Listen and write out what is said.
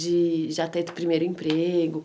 De já ter tido o primeiro emprego?